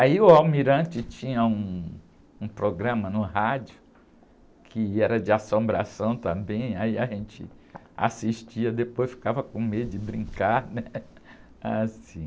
Aí o almirante tinha um, um programa no rádio que era de assombração também, aí a gente assistia, depois ficava com medo de brincar, né? Ah, sim...